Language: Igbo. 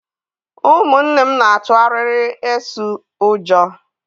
Ụmụnne m n'atu arịrị eso ụjọ.